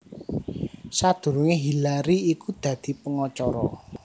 Sadurungé Hillary iku dadi pengacara